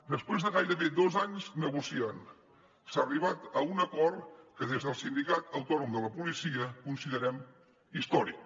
després de gairebé dos anys negociant s’ha arribat a un acord que des del sindicat autònom de policia considerem històric